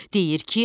Deyir ki,